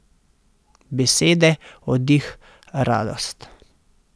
Besede, oddih, radost.